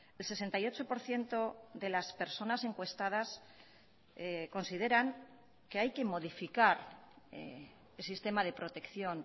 el sesenta y ocho por ciento de las personas encuestadas consideran que hay que modificar el sistema de protección